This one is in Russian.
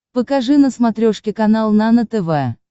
покажи на смотрешке канал нано тв